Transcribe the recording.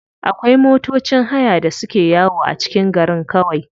Akwai matocin haya da suke yawo a cikin garin kawai.